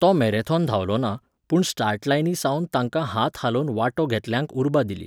तो मॅरेथॉन धांवलो ना, पूण स्टार्ट लायनी सावन तांकां हात हालोवन वांटो घेतल्यांक उर्बा दिली.